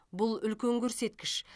бұл үлкен көрсеткіш